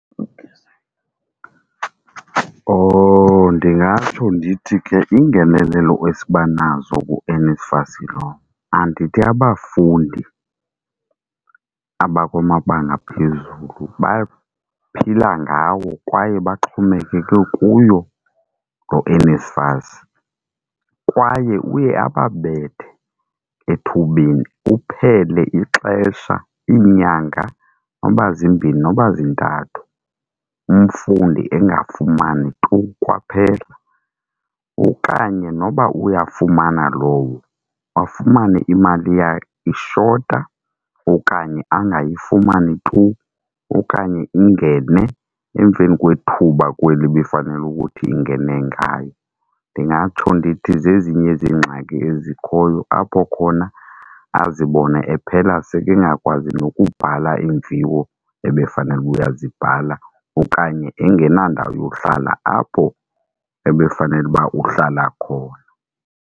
Oh. Ndingatsho ndithi ke iingenelelo esibanazo kuNSFAS lo andithi abafundi abakwamabanga aphezulu baphila ngawo kwaye baxhomekeke kuyo loo NSFAS. Kwaye uye ababethe ethubeni uphele ixesha iinyanga noba zimbini noba zintathu, umfundi engafumani tu kwaphela okanye noba uyafumana lowo, afumane imali yakhe ishota okanye angayifumani tu, okanye ingene emveni kwethuba kweli ibifanele ukuthi ingene ngayo. Ndingatsho ndithi zezinye zeengxaki ezikhoyo apho khona azibone ephela sekengakwazi nokubhala iimviwo ebefanele uba uyazibhala okanye engenandawo yohlala apho ebefanele uba uhlala khona.